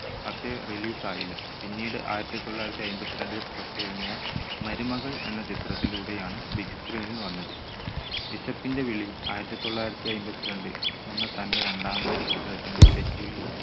പക്ഷേ release ആയില്ല. പിന്നീട് ആയിരത്തി തൊള്ളായിരത്തി അയ്മ്പത്തിരണ്ടിൽ പുറത്തിറങ്ങിയ മരുമകൾ എന്ന ചിത്രത്തിലൂടെയാണ് big screen ൽ വന്നത്. വിശപ്പിന്റെ വിളി ആയിരത്തി തൊള്ളായിരത്തി അയ്മ്പത്തിരണ്ട് എന്ന തന്റെ രണ്ടാമത്തെ ചിത്രത്തിന്റെ set ൽ